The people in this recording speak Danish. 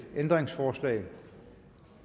ændringsforslag